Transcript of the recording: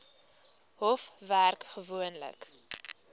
hof werk gewoonlik